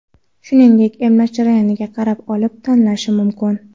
shuningdek emlash jarayoniga qarab olib tashlanishi mumkin.